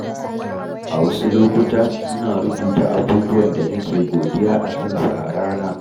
A wasu lokuta, ina rubuta abubuwan da nake godiya akansu a rana.